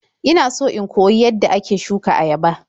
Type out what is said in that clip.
Ina so in koyi yadda ake shuka ayaba.